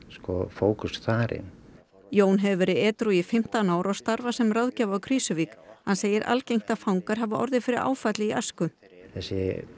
fókus þar inn Jón hefur verið edrú í fimmtán ár og starfar sem ráðgjafi á Krýsuvík hann segir algengt að fangar hafi orðið fyrir áfalli í æsku þessi